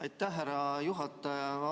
Aitäh, härra juhataja!